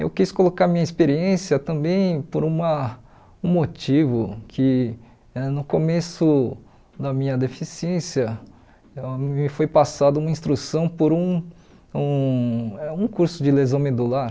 Eu quis colocar minha experiência também por uma um motivo que eh no começo da minha deficiência me foi passada uma instrução por um um é um curso de lesão medular.